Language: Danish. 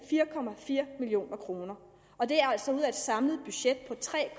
fire million kroner og det er altså ud af et samlet budget på tre